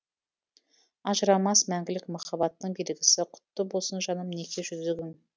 ажырамас мәңгілік махаббаттың белгісі құтты болсын жаным неке жүзігің